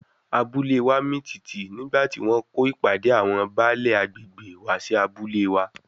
Abúlée wa mì tìtì nígbà tí wọ́n kó ìpàdé àwọn Baálè agbègbè wá sí abúlé wa.